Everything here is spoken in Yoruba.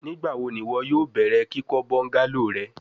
Nigbawo ni iwọ yoo bẹrẹ kikọ bungalow rẹ?